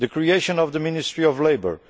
the creation of the Ministry of Labour